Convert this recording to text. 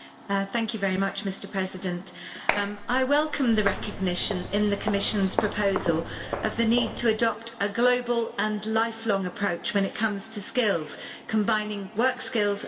Mr President, I welcome the recognition in the Commission's proposal of the need to adopt a global and lifelong approach when it comes to skills, combining work skills and life skills.